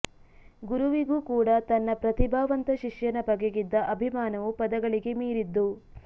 ಗುರುವಿಗೂ ಕೂಡ ತನ್ನ ಪ್ರತಿಭಾವಂತ ಶಿಷ್ಯನ ಬಗೆಗಿದ್ದ ಅಭಿಮಾನವು ಪದಗಳಿಗೆ ಮೀರಿದ್ದು